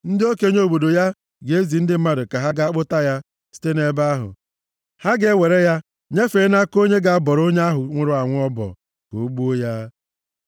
ndị okenye obodo ya ga-ezi ndị mmadụ ka ha gaa kpụta ya site nʼebe ahụ. Ha ga-ewerekwa ya nyefee nʼaka onye ga-abọrọ onye ahụ nwụrụ anwụ ọbọ, ka o gbuo ya.